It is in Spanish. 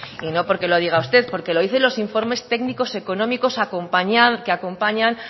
y no porque lo diga usted porque lo dicen los informes técnicos y económicos que acompañan